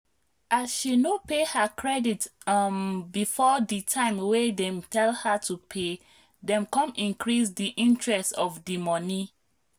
as she no pay her credit um before ditime wey dem tell her to pay dem come increase diinterest of dimoney